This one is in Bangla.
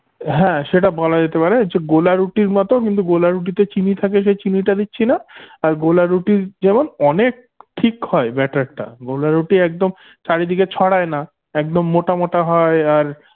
হ্যা সেটা বলা যেতে পারে যে গোলা রুটির মতো কিন্তু গোলা রুটিতে চিনি থাকে সেই চিনি টা দিচ্ছিনা আর গোলা রুটির যেমন অনেক ঠিক হয় better টা গোলা রুটি একদম চারিদিকে ছড়ায় না একদম মোটা মোটা হয় আর